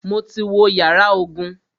Mo ti wo yàrá ogun.